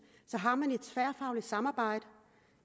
så har man et tværfagligt samarbejde